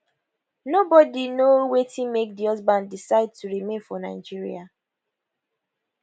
nobody know wetin make di husband decide to remain for nigeria